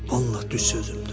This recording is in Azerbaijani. Allah düz sözümdür.